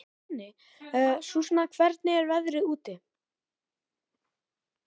Susan, hvernig er veðrið úti?